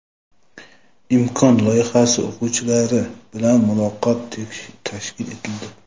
"Imkon" loyihasi o‘quvchilari bilan muloqot tashkil etildi.